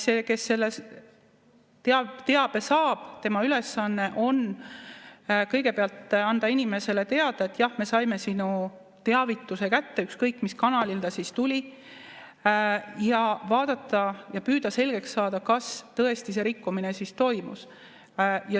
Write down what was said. See, kes teabe saab, tema ülesanne on kõigepealt anda inimesele teada, et jah, me saime sinu teavituse kätte, ükskõik mis kanalil see siis tuli, ja siis vaadata ja püüda selgeks saada, kas tõesti see rikkumine toimus.